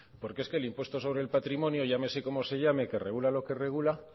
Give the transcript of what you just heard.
porque es que el impuesto del patrimonio llámese como se llame que regula lo que regula